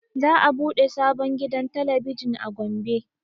Za a ɓude sabon gidan talabijin a gombe